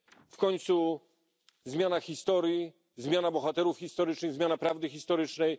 W końcu następuje zmiana historii, zmiana bohaterów historycznych, zmiana prawdy historycznej.